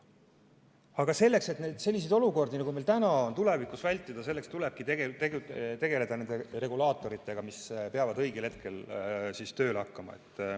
Aga selleks, et selliseid olukordi, nagu meil täna on, tulevikus vältida, tulebki tegeleda nende regulaatoritega, mis peavad õigel hetkel tööle hakkama.